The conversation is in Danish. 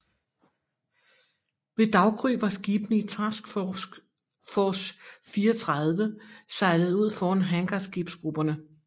Ved daggry var skibene i Task Force 34 sejlet ud foran hangarskibsgrupperne